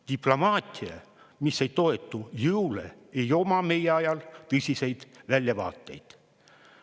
Diplomaatia, mis ei toetu jõule, ei oma meie ajal tõsiseid väljavaateid.